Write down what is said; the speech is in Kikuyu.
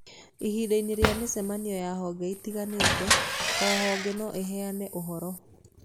Ihinda-inĩ rĩa mĩcemanio ya honge itiganĩte, o honge no ĩheane ũhoro